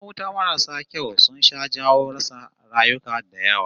Kayan wuta marasu kyau sun sha jawo rasa rayuka da yawa